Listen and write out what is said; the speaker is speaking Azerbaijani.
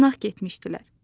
Qonaq getmişdilər.